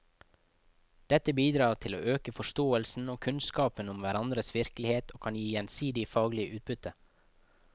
Dette bidrar til å øke forståelsen og kunnskapen om hverandres virkelighet og kan gi gjensidig faglig utbytte.